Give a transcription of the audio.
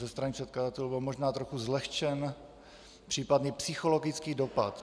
Ze strany předkladatelů byl možná trochu zlehčen případný psychologický dopad.